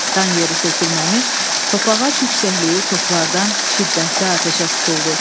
Dan yeri sökülməmiş, Topağac yüksəkliyi toplardan şiddətli atəşə tutuldu.